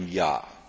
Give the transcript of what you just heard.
Euro im Jahr.